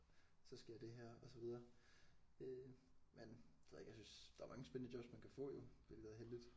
Så sker det her og så videre øh men det ved jeg ikke jeg synes der er mange spændende jobs man kan få jo hvilket er heldigt